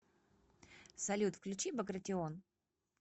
салют включи багратион